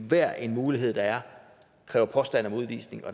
hver en mulighed der er og kræver påstand om udvisning og